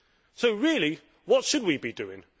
So, really, what should we be doing?